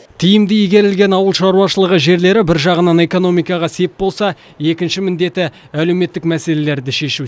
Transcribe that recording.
тиімді игерілген ауыл шаруашылығы жерлері бір жағынан экономикаға сеп болса екінші міндеті әлеуметтік мәселелерді шешу